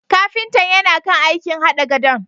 Kafintan yana kan aikin hada gadon.